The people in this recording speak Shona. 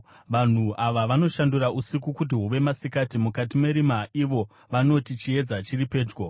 Vanhu ava vanoshandura usiku kuti huve masikati; mukati merima ivo vanoti, ‘Chiedza chiri pedyo.’